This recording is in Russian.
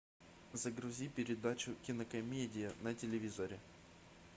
загрузи передачу кинокомедия на телевизоре